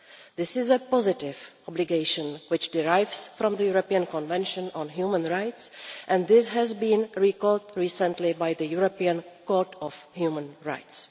This is a positive obligation which derives from the European Convention on Human Rights and this has been recalled recently by the European Court of Human Rights.